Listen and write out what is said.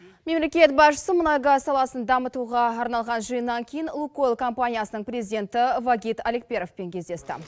мемлекет басшысы мұнай газ саласын дамытуға арналған жиыннан кейін лукойл компаниясының президенті вагит аликперовпен кездесті